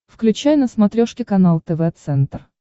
включай на смотрешке канал тв центр